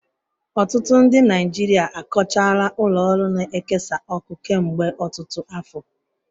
Ọtụtụ ndị Naijiria akọchaala ụlọ ọrụ na-ekesa ọkụ kemgbe ọtụtụ afọ.